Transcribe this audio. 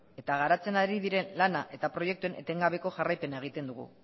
eta garatzen ari diren lana eta proiektuen etengabeko jarraipena egiten dugu